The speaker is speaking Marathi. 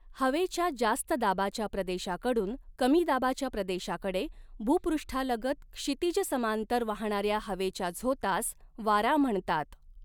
हवेच्या जास्त दाबाच्या प्रदेशाकडून कमी दबाच्या प्रदेशाकडे भूपृष्ठालगत क्षितिज समांतर वाहणाऱ्या हवेच्या झोतास वारा म्हणतात.